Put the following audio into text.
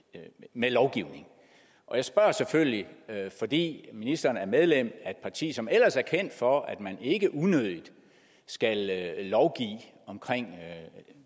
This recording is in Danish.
med lovgivning jeg spørger selvfølgelig fordi ministeren er medlem af et parti som ellers er kendt for at man ikke unødigt skal lovgive om